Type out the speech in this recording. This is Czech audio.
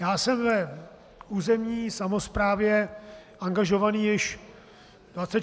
Já jsem v územní samosprávě angažován již 24 let.